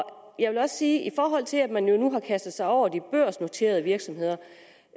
jeg vil også sige i forhold til at man nu har kastet sig over de børsnoterede virksomheder